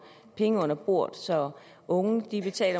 penge under bordet så unge